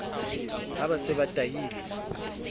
ha ba se ba tahilwe